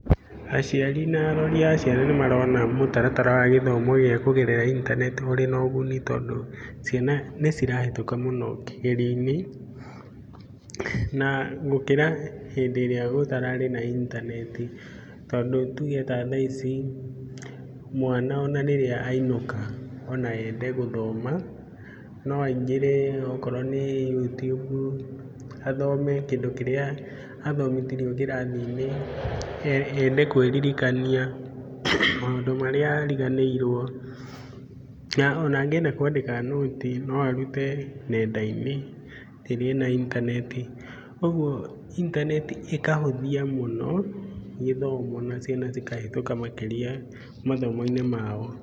Aciari na arori a ciana nĩ marona mũtaratara wa gĩthomo gia kũgerera intaneti ũrĩ na ũguni tondũ ciana nĩ cirahĩtuka mũno kĩgerio-inĩ. Na gũkĩra hĩndĩ ĩrĩa gũtararĩ na intaneti, tondũ tuge ona ta thaa ici mwana ona rĩrĩa ainũka, ona ende gũthoma no aingĩrĩ okorwo nĩ You tube athome kĩrĩa athomithirio kĩrathi-inĩ, ende kwĩririkania maũndũ marĩa ariganĩirwo. Na ona angĩenda kwandĩka nũti no arute nenda-inĩ rĩrĩa ena intaneti. Ũguo intaneti ĩka hũthia mũno gĩthomo na ciana cikahĩtũka makĩria mathomo-inĩ mao.